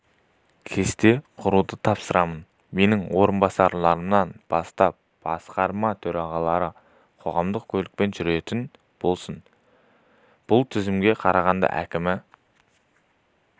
кесте құруды тапсырамын менің орынбасарларымнан бастап басқарма төрағалары қоғамдық көлікпен жүретін болсын бұл тізімге қарағанды әкімі